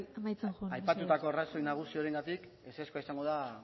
aipatutako arrazoi nagusiarengatik ezezkoa izango da